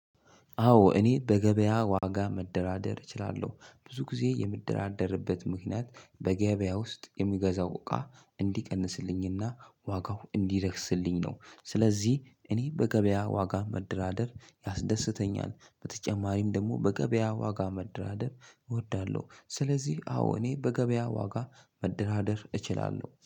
አዎ እኔ በገበያ ዋጋ መደራደር እችላለሁ። ብዙ ጊዜ የምደራደርበት ምክንያት በገበያ ውስጥ የምገዛው እቃ እንዲቀንስልኝና ዋጋው እንዲረክስልኝ ነው። ስለዚህ እኔ በገበያ ዋጋ መደራደር ያስደስተኛል። በተጨማሪም ደግሞ በገበያ ዋጋ መደራደር እወዳለሁ። ስለዚህ አዎ እኔ በገበያ ዋጋ መደራደር እችላለሁ።